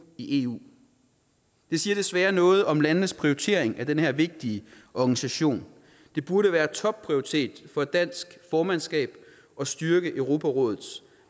i eu det siger desværre noget om landenes prioritering af den her vigtige organisation det burde være topprioritet for et dansk formandskab at styrke europarådet